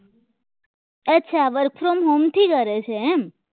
અચ્છા work from home થી કરે છે એમ